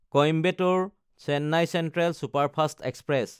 Coimbatore Chennai central superfast express